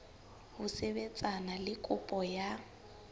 ho sebetsana le kopo ya